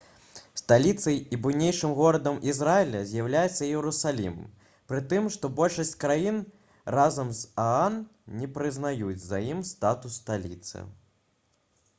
сталіцай і буйнейшым горадам ізраіля з'яўляецца іерусалім пры тым што большасць краін разам з аан не прызнаюць за ім статус сталіцы